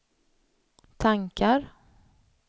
tankar